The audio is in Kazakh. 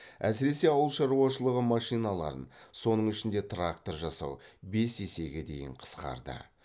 әсіресе ауыл шаруашылығы машиналарын соның ішінде трактор жасау бес есеге дейін қысқарды